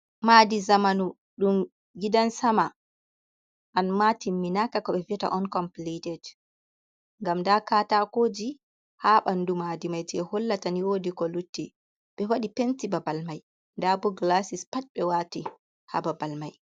Maadi zamanu ɗum gidan sama amma timminaka ko ɓe vi'ata on compilited ngam nda katakoji ha ɓandu maadi mai jei hollata ni woodi ko lutti. Ɓe wadi penti babal mai nda bo gilasis pat ɓe wati ha babal mai.